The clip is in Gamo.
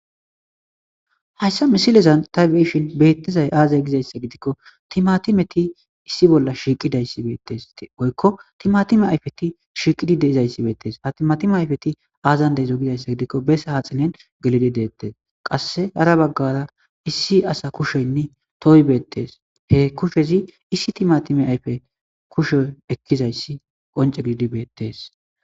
hayssa misilezan tay beyishin beettizay aazay gizayssa gidikko timatimeti issi bolla shiiqidayssi beettes woykko timatime ayfeti shiiqidi deizayssi beettees ha timatime ayfeti aazan deizo gizayssa gidikko bes haaxinen gelidi deettees qasse hara baggara issi asa kusheynne tooy beettees he kushezi issi timatime ayfe kusho ekkizayssi qonce gedidi beettes